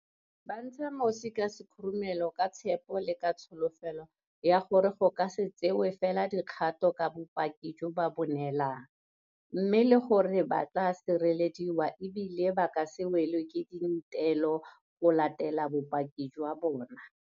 Ba ntsha mosi ka sekhurumelo ka botshepegi le ka tsholofelo ya gore go ka se tsewe fela dikgato ka bopaki jo ba bo neelang, mme le gore ba tla sirelediwa e bile ba ka se welwe ke dintelo go latela bopaki jwa bona.